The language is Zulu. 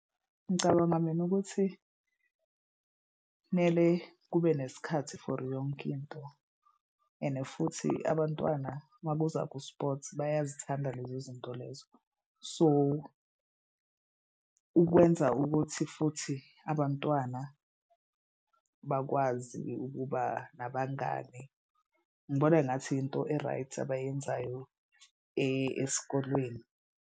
Ngicabanga mina ukuthi kumele kube nesikhathi for yonke into and futhi abantwana makuza ku-sports bayazithanda lezo zinto lezo. So ukwenza ukuthi futhi abantwana bakwazi ukuba nabangani. Ngibona engathi into e-right abayenzayo esikolweni.